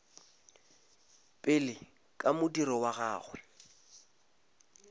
pele ka modiro wa gagwe